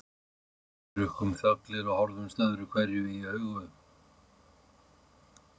Við drukkum þöglir og horfðumst öðruhverju í augu.